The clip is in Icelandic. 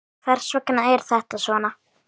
Hvers vegna er þetta svona?